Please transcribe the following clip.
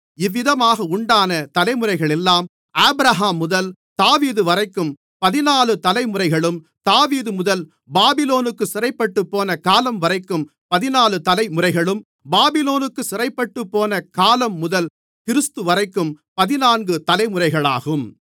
இவ்விதமாக உண்டான தலைமுறைகளெல்லாம் ஆபிரகாம்முதல் தாவீதுவரைக்கும் பதினாலு தலைமுறைகளும் தாவீதுமுதல் பாபிலோனுக்குச் சிறைப்பட்டுப்போன காலம்வரைக்கும் பதினாலு தலைமுறைகளும் பாபிலோனுக்குச் சிறைப்பட்டுப்போன காலம்முதல் கிறிஸ்துவரைக்கும் பதினான்கு தலைமுறைகளாகும்